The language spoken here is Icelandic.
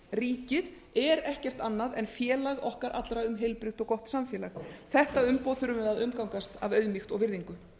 ríkið er ekkert annað en félag okkar allra um heilbrigt og gott samfélag þetta umboð þurfum við að umgangast af auðmýkt og virðingu